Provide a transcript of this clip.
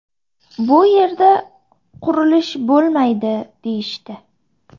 Bu yerda qurilish bo‘lmaydi deyishdi.